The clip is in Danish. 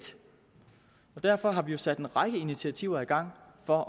derfor har vi jo sat en række initiativer i gang for